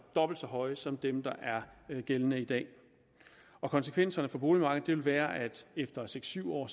dobbelt så høje som dem der er gældende i dag konsekvenserne for boligmarkedet vil være at efter seks syv år